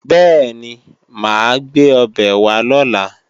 Bẹ́ẹ̀ni, mà á gbé ọbẹ̀ wá lọ̀la